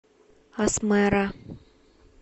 асмэра